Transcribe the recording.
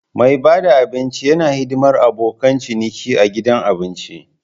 Mai bada abinci yana hidimar abokan ciniki a gidan abinci.